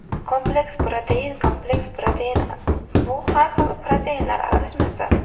Kompleks protein Kompleks protein bu har xil proteinlar aralashmasi.